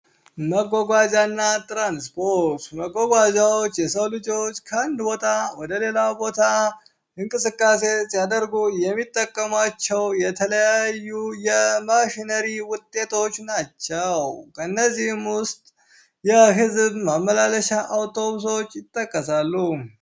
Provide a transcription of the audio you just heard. መጓጓዣ እና ትራንስፖርት :- መጓጓዣዎች የሰው ልጆች ከአንድ ቦታ ወደ ሌላ ቦታ እንቅስቃሴ ሲያደርጉ የሚጠቀሙዋቸው የተለያዩ የማሽነሪ ውጤቶች ናቸው:: ከእነዚህም ውስጥ የህዝብ ማመላለሻ አውቶብሶች ይጠቀሳሉ።